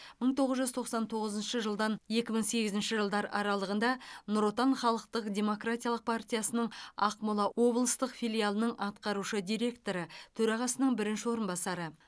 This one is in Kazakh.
мың тоғыз жүз тоқсан тоғызыншы жылдан екі мың сегізінші жылдар аралығында нұр отан халықтық демократиялық партиясының ақмола облыстық филиалының атқарушы директоры төрағасының бірінші орынбасары